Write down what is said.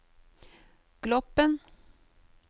Gloppen